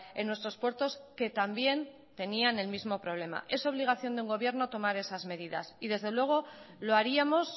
en nuestros puertos que también tenían el mismo problema es obligación de un gobierno tomar esas medidas y desde luego lo haríamos